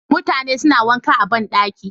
Mutane suna wanka a ban ɗaki.